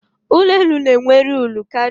Ụlọ elu n'enwe uru karịa ụlọ àlà